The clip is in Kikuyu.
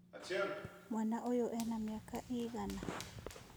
Mwana ũyũena mĩaka ĩigana?